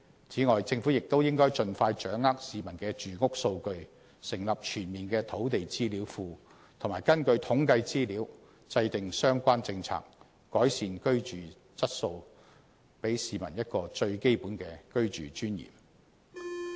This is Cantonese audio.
政府亦應盡快掌握市民的住屋數據，成立全面的"土地資料庫"，並根據統計資料制訂相應政策，改善居住質素，還市民一個最基本的居住尊嚴。